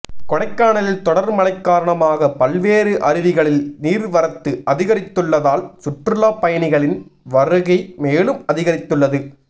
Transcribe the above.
கொடைக்கானலில் தொடர் மழைக்காரணமாக பல்வேறு அருவிகளில் நீர்வரத்து அதிகரித்துள்ளதால் சுற்றுலா பயணிகளின் வருகை மேலும் அதிகரித்துள்ளது